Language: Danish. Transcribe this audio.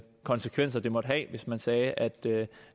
konsekvenser det måtte have hvis man sagde at det